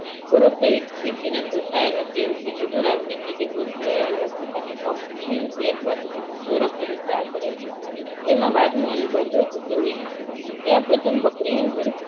તેમાં પ્રથમ બકરી નું દૂધ